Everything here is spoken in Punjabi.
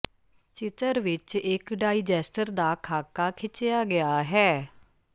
ਚਿਤਰ ਵਿੱਚ ਇੱਕ ਡਾਈਜੈਸਟਰ ਦਾ ਖਾਕਾ ਖਿਚਿਆ ਗਿਆ ਹੈ